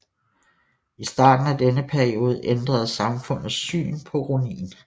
I starten af denne periode ændrede samfundets syn på ronin